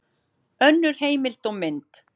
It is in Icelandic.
Önnur heimild og mynd